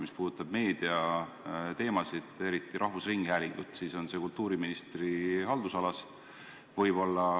Mis puudutab meediateemasid, eriti rahvusringhäälingut, siis need on kultuuriministri haldusalas.